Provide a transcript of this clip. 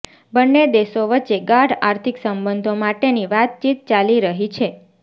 બંને દેશો વચ્ચે ગાઢ આર્થિક સંબંધો માટેની વાતચીત ચાલી રહી છે